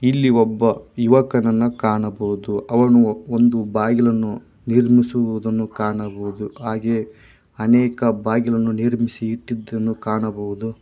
ಇಲ್ಲಿ ಒಬ್ಬ ಯುವಕನನ್ನ ಕಾಣಬಹುದು ಅವನು ಒಂದು ಬಾಗಿಲನ್ನು ನೀರ್ಮಿಸುವುದನ್ನು ಕಾಣಬಹುದು ಹಾಗೆ ಅನೇಕ ಬಾಗಿಲನ್ನು ನಿರ್ಮಿಸಿ ಇಟ್ಟಿದ್ದನ್ನು ಕಾಣಬಹುದು.